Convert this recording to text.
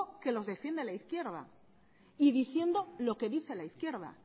que los defiende la izquierda y diciendo lo que dice la izquierda